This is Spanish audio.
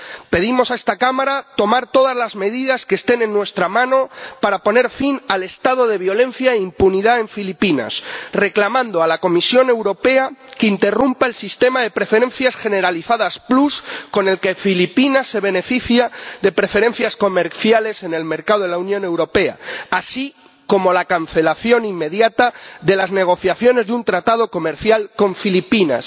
Pedimos a esta Cámara que tome todas las medidas que estén en su mano para poner fin al estado de violencia e impunidad en Filipinas y que reclame a la Comisión Europea que interrumpa el Sistema de Preferencias Generalizadas Plus con el que Filipinas se beneficia de preferencias comerciales en el mercado de la Unión Europea, así como la cancelación inmediata de las negociaciones de un tratado comercial con Filipinas.